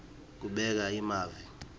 kubeka emavi